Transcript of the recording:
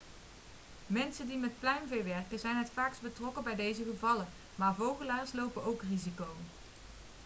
mensen die met pluimvee werken zijn het vaakst betrokken bij deze gevallen maar vogelaars lopen ook risico